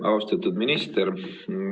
Austatud minister!